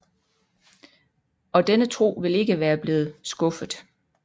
Og denne tro ville ikke være blevet skuffet